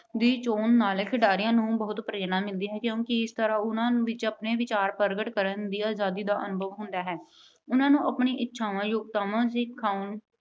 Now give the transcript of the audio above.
ਚੋਣ ਨਾਲ ਖਿਡਾਰੀਆਂ ਨੂੰ ਬਹੁਤ ਪ੍ਰੇਰਨਾ ਮਿਲਦੀ ਹੈ ਕਿਉਂਕਿ ਇਸ ਤਰ੍ਹਾਂ ਉਹਨਾਂ ਵਿੱਚ ਆਪਣੇ ਵਿਚਾਰਾਂ ਨੂੰ ਪ੍ਰਗਟ ਕਰਨ ਦੀ ਆਜਾਦੀ ਦਾ ਅਨੁਭਵ ਹੁੰਦਾ ਹੈ। ਉਹਨਾਂ ਨੂੰ ਆਪਣੀਆਂ ਇੱਛਾਵਾਂ, ਯੋਗਤਾਵਾਂ ਦਿਖਾਉਣ